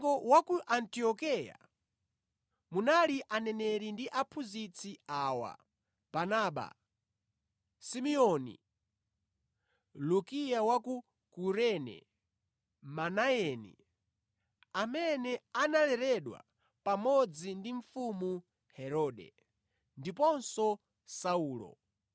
Mu mpingo wa ku Antiokeya munali aneneri ndi aphunzitsi awa: Barnaba, Simeoni, Lukia wa ku Kurene, Manayeni (amene analeredwa pamodzi ndi mfumu Herode), ndiponso Saulo.